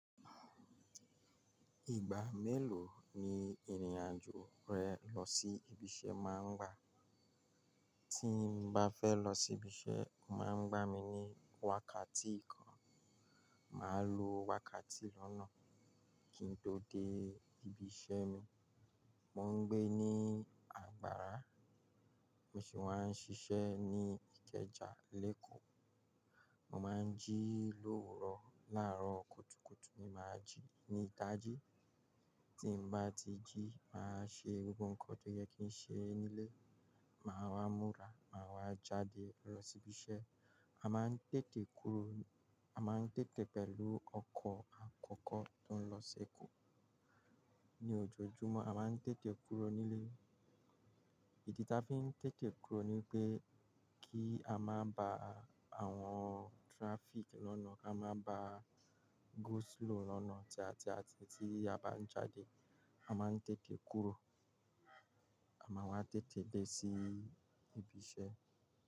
Ìgbà mélòó ni ìrìn-àjò rẹ lọ sí ibi iṣẹ́ máa ń gba? Tí mo bá fẹ́ lọ sí ibi iṣẹ́, o máa ń gba mi ní wákàtí kan. Màá lo wákàtí lọ́nà kí n tó dé ibi iṣẹ́ mi. Mo ń gbé ní àgbàrá, mo sì wá ń ṣiṣẹ́ ní Ìkẹjà, Lẹ́kọ́ọ̀. Mo máa ń jí l'owurọ láàárọ̀ kùtùkùtù ni màá jí ní ìdaji. Tí mo bá ti jí, màá ṣe gbogbo nǹkan tó yẹ kí n ṣe nílé, màá wá múra, màá wá jáde lọ sí ibi iṣẹ́. A máa ń tètè kúrò, a máa ń tètè pẹ̀lú ọkọ̀ àkọ́kọ́ tó ń lọ sí Èkó. Ni ojoojúmọ́, a máa ń tètè kúrò nílé. Ìdí tí a fi ń tètè kúrò ni pé kí a má ba à awon traffic lọ́nà, ká má ba à go slow lọ́nà. Tí a, tí a, tí a bá ń jáde, a máa ń tètè kúrò. A máa wá tètè dé sí ibi iṣẹ́.